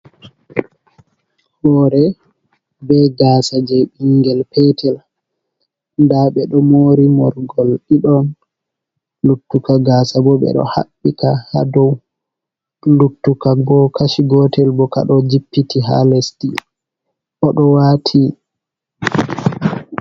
Hore be gaasa je binngel petel da ɓe do mori morgol ɗiɗon, luttuka gaasa bo ɓe ɗo habbika ha dou luttuka bo kashi gotel bo ka ɗo jippiti ha lesdi o do wati.